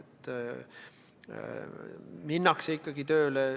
Minnakse ikkagi tööle.